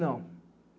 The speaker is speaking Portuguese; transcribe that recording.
Não.